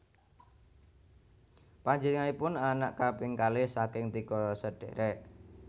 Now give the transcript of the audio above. Panjénenganipun anak kaping kalih saking tiga sedhèrèk